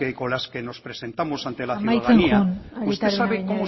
con las que nos presentamos ante la ciudadanía amaitzen joan arieta araunabeña jauna usted sabe como